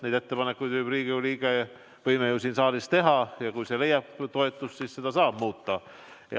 Selle ettepaneku võib Riigikogu liige siin saalis teha ja kui see leiab toetust, siis seda saab muuta.